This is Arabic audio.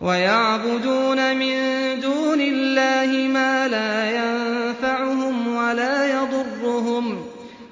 وَيَعْبُدُونَ مِن دُونِ اللَّهِ مَا لَا يَنفَعُهُمْ وَلَا يَضُرُّهُمْ ۗ